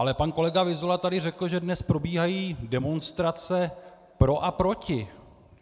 Ale pan kolega Vyzula tady řekl, že dnes probíhají demonstrace pro a proti.